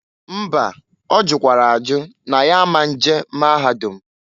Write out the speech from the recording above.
Mba! Ọ jụkwara ajụ n' ya a ma nje maahadụm.